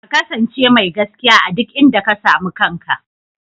Ka kasance mai gaskiya a duk inda ka sami kanka.